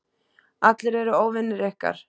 Allir eru óvinir ykkar.